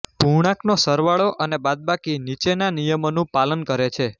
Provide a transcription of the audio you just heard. પૂર્ણાંકનો સરવાળો અને બાદબાકી નીચેનાં નિયમોનું પાલન કરે છે